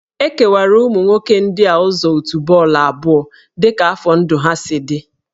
E kewara ụmụ nwoke ndị a ụzọ òtù bọọlụ abụọ dị ka afọ ndụ ha si dị